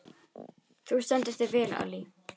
Þú stendur þig vel, Allý!